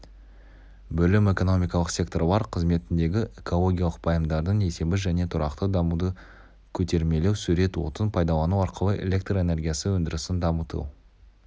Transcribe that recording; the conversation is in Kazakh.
бөлім экономикалық секторлар қызметіндегі экологиялық пайымдардың есебі және тұрақты дамуды көтермелеу сурет отын пайдалану арқылы электр энергиясы өндірісін дамыту